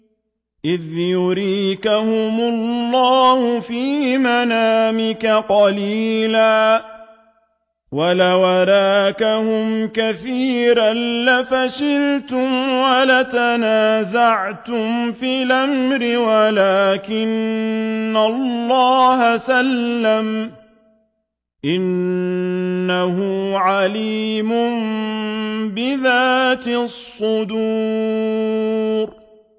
إِذْ يُرِيكَهُمُ اللَّهُ فِي مَنَامِكَ قَلِيلًا ۖ وَلَوْ أَرَاكَهُمْ كَثِيرًا لَّفَشِلْتُمْ وَلَتَنَازَعْتُمْ فِي الْأَمْرِ وَلَٰكِنَّ اللَّهَ سَلَّمَ ۗ إِنَّهُ عَلِيمٌ بِذَاتِ الصُّدُورِ